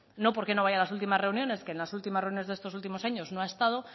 no porque no vaya a las últimas reuniones que en las últimas reuniones de estos últimos años no ha estado